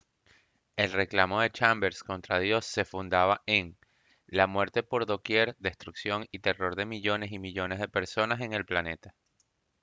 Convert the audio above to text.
el reclamo de chambers contra dios se fundaba en «la muerte por doquier destrucción y terror de millones y millones de personas en el planeta»